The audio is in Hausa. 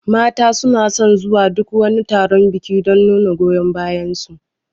Mata suna son zuwa duk wani taron biki don nuna goyon bayar su